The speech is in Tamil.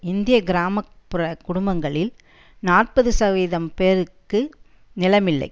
இந்திய கிராம புற குடும்பங்களில் நாற்பது சதவீத பேருக்கு நிலமில்லை